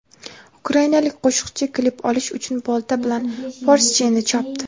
Ukrainalik qo‘shiqchi klip olish uchun bolta bilan Porsche’ni chopdi.